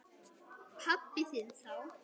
Pabba þinn þá.